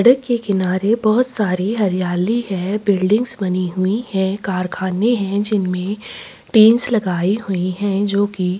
सड़क के किनारे बहुत सारी हरियाली है बिल्डिंग्स बनी हुई है कारखाने है जिनमे टीन्स लगाई हुई है जो की --